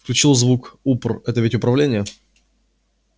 включил звук упр это ведь управление